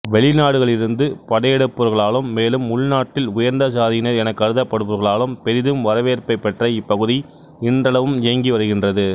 வெளிநாடுகளிலிருந்து படையெடுப்பவர்களாலும் மேலும் உள்நாட்டில் உயர்ந்த சாதியினர் எனக் கருதப்படுபவர்களாலும் பெரிதும் வரவேற்பைப் பெற்ற இப்பகுதி இன்றளவும் இயங்கி வருகின்றது